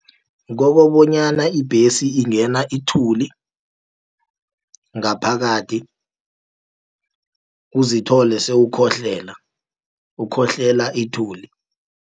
Kobobonyana ibhesi ingena ithuli ngaphakathi, uzithole sewukhohlela ukhohlela ithuli.